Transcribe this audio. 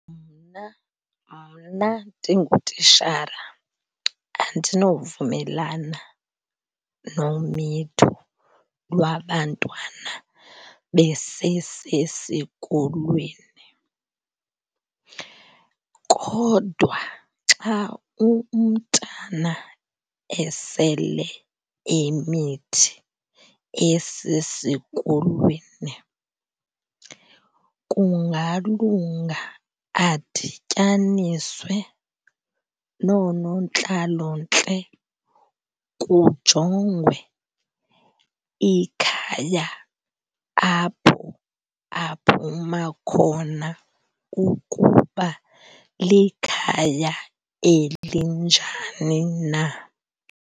Mna mna ndingutitshala andinovumelana nomitho lwabantwana besesesikolweni. Kodwa xa umntana esele emithi esesikolweni kungalunga adityaniswe noonontlalontle kujongwe ikhaya apho aphuma khona ukuba likhaya elinjani na.